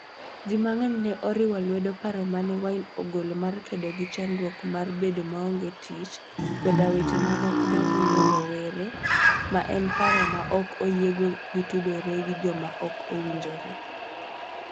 Ji mang'eny ne oriwo lwedo paro ma ne Wine ogolo mar kedo gi chandruok mar bedo maonge tich koda weche mamoko mamulo rowere, ma en paro ma ok oyiego ni otudore gi joma ok owinjore.